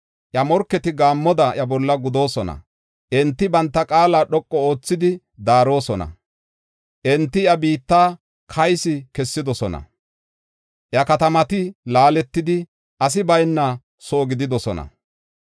Iya morketi gaammoda iya bolla gudoosona. Enti banta qaala dhoqu oothidi daarosona. Enti iya biitta kaysi kessidosona; iya katamati laaletidi asi bayna soo gididosona.